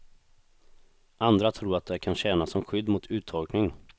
Andra tror att det kan tjäna som skydd mot uttorkning.